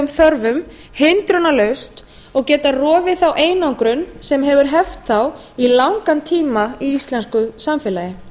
þörfum hindrunarlaust og geta rofið þá einangrun sem hefur heft þá í langan tíma í íslensku samfélagi